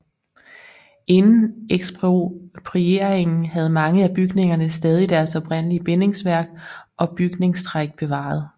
Inden eksproprieringen havde mange af bygningerne stadig deres oprindelige bindingsværk og bygningstræk bevaret